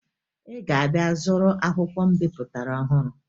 Ị ga-abịa zụrụ akwụkwọ m bipụtara ọhụru